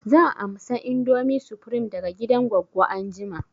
Zan amsa indomie supreme daga gidan goggo anjima